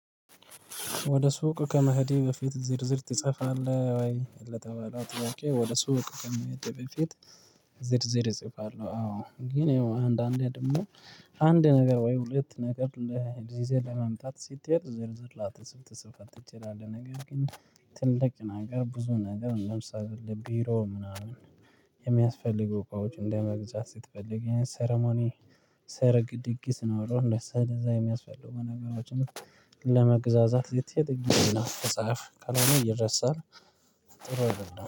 ወደ ሱቅ ከመሄድህ በፊት ዝርዝር ትጽፋለህ ወይ ለተባለው ጥያቄ? ወደ ሱቅ ከመሄዴ በፊት ዝርዝር እጽፋለሁ። አዎ ግን ያው አንዳንዴ ደግሞ አንድ ነገር ወይም ሁለት ነገር ይዘህ ለመምጣት ስትሄድ ዝርዝር ላትፅፍ ትችላለህ። ነገር ግን ትልቅ ነገር ብዙ ነገር እንደምሳሌ እንደ ቢሮ ምናምን የሚያስፈልጉ እቃዎች ለመግዛት ስትፈልግ ሰርሞኒ ሰርግ ድግስ ኖሮህ ስለዛ የሚያስፈልጉ ነገሮችን ለመግዛዛት የተጻፈ ካልሆነ ይረሳል። ጥሩ አይደለም